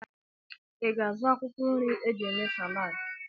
I ga-azụ akwụkwọ nri e ji eme Salad?